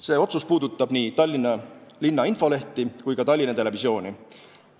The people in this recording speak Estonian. See puudutab nii linna infolehti kui ka Tallinna Televisiooni.